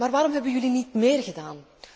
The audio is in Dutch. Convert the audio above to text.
Maar waarom hebben jullie niet meer gedaan?